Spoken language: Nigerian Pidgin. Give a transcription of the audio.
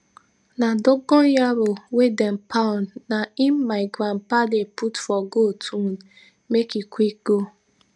na dogon yaro wey dem pound na im my grandpa dey put for goat wound make e quick go